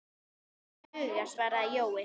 Það ætti að duga, svaraði Jói.